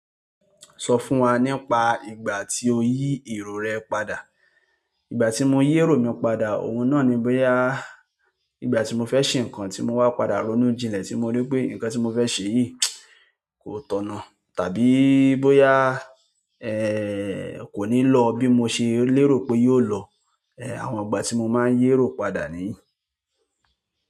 Sọ fún wa nípa ìgbà tí o yí èrò rẹ padà. Ìgbà tí mo yí èrò mi padà, òun náà ni bóyá ìgbà tí mo fẹ́ ṣe nǹkan tí mo wá padà ronú jinlẹ̀ tí mo rí pé nǹkan tí mo fẹ́ ṣe yìí kò tọ̀nà, tàbí bóyá, kò ní lọ bí mo ṣe lérò pé yóò lọ. Ẹ̀, àwọn ìgbà tí mo máa ń yí èrò padà nìyí.